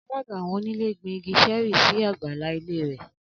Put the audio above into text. Alága awọn onílé gbin igi Sheri sí àgbàlá ilé rè